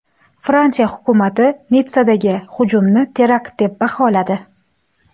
Fransiya hukumati Nitssadagi hujumni terakt deb baholadi.